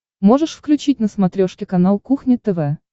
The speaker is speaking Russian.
можешь включить на смотрешке канал кухня тв